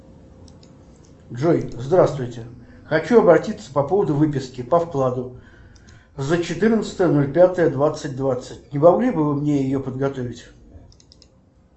джой здравствуйте хочу обратиться по поводу выписки по вкладу за четырнадцатое ноль пятое двадцать двадцать не могли бы вы мне ее подготовить